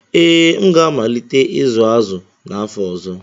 Ee, m ga-amalite ịzụ azụ n'afọ ọzọ.